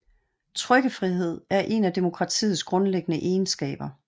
Trykkefrihed er en af demokratiets grundlæggende egenskaber